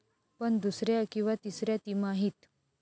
पण दुसऱ्या किंवा तिसऱ्या तिमाहीत?